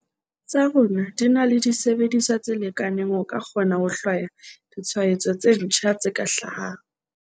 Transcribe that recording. tsa rona di na le disebediswa tse lekaneng ho ka kgona ho hlwaya ditshwaetso tse ntjha tse ka hlahang.